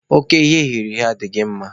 Oke ihe eghere eghe adịghị mma